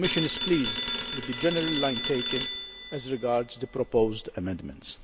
The Commission is pleased with the general line taken, as regards the proposed amendments.